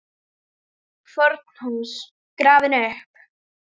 FORN HÚS GRAFIN UPP